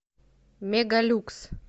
мегалюкс